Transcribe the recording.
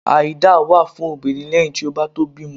Àìdá wa fún obírín leyin tí o ba to bimò